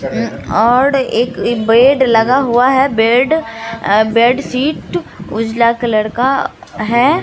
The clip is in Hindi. अम्म और एक बेड लगा हुआ है बेड अ बेडशीट उजला कलर का है।